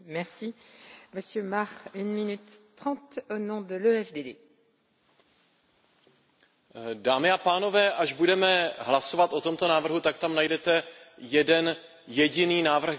Dámy a pánové, až budeme hlasovat o tomto návrhu, tak tam najdete jeden jediný návrh k hlasování, a to je můj návrh na zamítnutí této normy podaný jménem